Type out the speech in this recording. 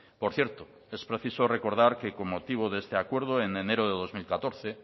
por cierto es preciso recordar que con motivo de este acuerdo en enero del dos mil catorce